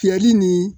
Fiyɛli ni